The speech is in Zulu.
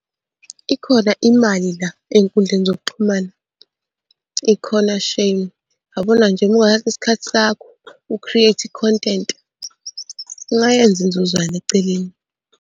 Ikhona imali la ey'nkundleni zokuxhumana, ikhona shame. Yabona nje uma ungathatha isikhathi sakho u-create i-content, ungayenza inzuzwana eceleni.